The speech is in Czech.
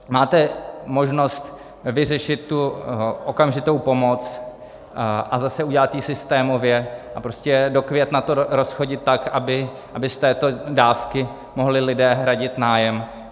Máte možnost vyřešit tu okamžitou pomoc a zase udělat ji systémově a prostě do května to rozchodit tak, aby z této dávky mohli lidé hradit nájem.